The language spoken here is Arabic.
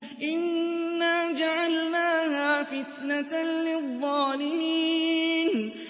إِنَّا جَعَلْنَاهَا فِتْنَةً لِّلظَّالِمِينَ